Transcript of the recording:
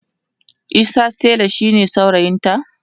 Isa tela shine saurayinta